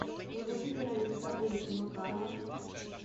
владимира александровича макарова